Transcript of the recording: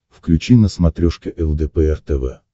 включи на смотрешке лдпр тв